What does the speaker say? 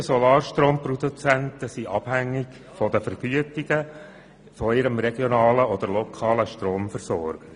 Die meisten Solarstromproduzenten sind abhängig von den Vergütungen durch ihren regionalen oder lokalen Stromversorger.